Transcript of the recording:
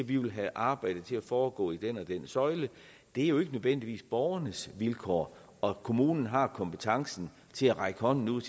de vil have arbejdet til at foregå i den og den søjle det er jo ikke nødvendigvis borgernes vilkår og kommunen har kompetencen til at række hånden ud